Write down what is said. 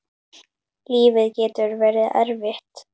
Lífið getur verið erfitt.